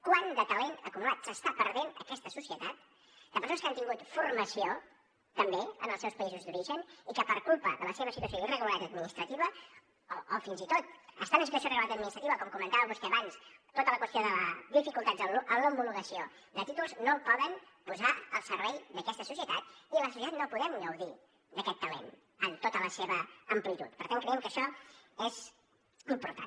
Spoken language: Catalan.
quant de talent acumulat s’està perdent aquesta societat de persones que han tingut formació també en els seus països d’origen i que per culpa de la seva situació d’irregularitat administrativa o fins i tot estant en situació de regularitat administrativa com comentava vostè abans per tota la qüestió de dificultats en l’homologació de títols no ho poden posar al servei d’aquesta societat i la societat no podem gaudir d’aquest talent en tota la seva amplitud per tant creiem que això és important